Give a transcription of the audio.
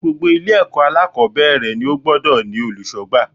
Gbogbo Ilé èkó alákòbéèrè ni ó gbodò ní olùsógbà